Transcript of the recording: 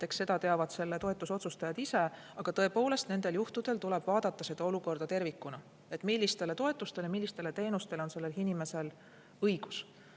Eks seda teavad selle toetuse otsustajad ise, aga tõepoolest, nendel juhtudel tuleb vaadata olukorda tervikuna, millistele toetustele, millistele teenustele on konkreetsel inimesel õigus.